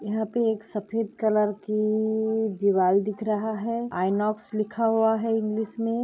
यहाँ पे एक सफेद कलर की दीवार दिख रहा है आईनॉक्स लिखा हुआ है इंग्लिश में।